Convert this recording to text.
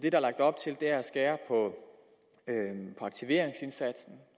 er lagt op til er at skære på aktiveringsindsatsen